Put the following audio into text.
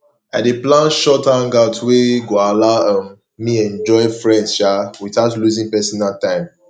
i dey plan short hangouts wey go allow um me enjoy friends um without losing personal time